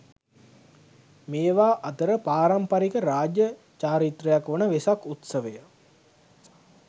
මේවා අතර පාරම්පරික රාජ්‍ය චාරිත්‍රයක් වන වෙසක් උත්සවය